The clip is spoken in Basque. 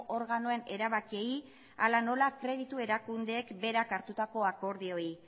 organoen erabakiei hala nola kreditu erakundeek berak hartutako akordioei